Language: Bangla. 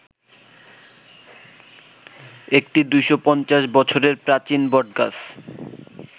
একটি ২৫০ বছরের প্রাচীন বটগাছ